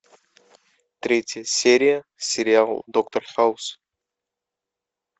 третья серия сериал доктор хаус